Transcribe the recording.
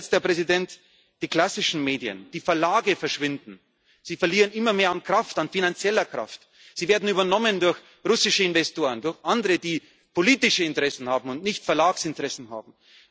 werden. Zu guter Letzt Die klassischen Medien, die Verlage verschwinden, sie verlieren immer mehr an Kraft, an finanzieller Kraft, sie werden übernommen durch russische Investoren, durch andere, die politische Interessen haben und nicht Verlagsinteressen